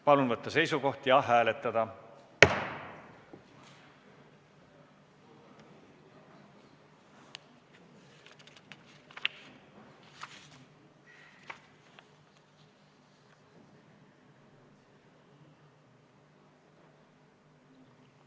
Palun võtta seisukoht ja hääletada!